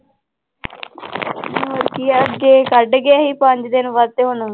ਹੋਰ ਕੀ ਆ ਅੱਗੇ ਕੱਢ ਗਿਆ ਸੀ ਪੰਜ ਦਿਨ ਵੱਧ ਹੁਣ,